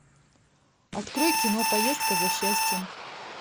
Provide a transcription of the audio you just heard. открой кино поездка за счастьем